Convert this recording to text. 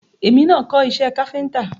Èmi máa kọ́ iṣé káfíńńtà.